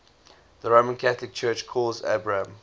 the roman catholic church calls abraham